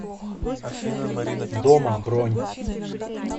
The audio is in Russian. дома бронь